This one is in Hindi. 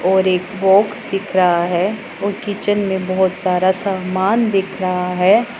और एक बॉक्स दिख रहा है और किचन में बहोत सारा समान दिख रहा है।